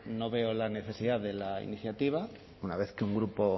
no veo la necesidad de la iniciativa una vez que un grupo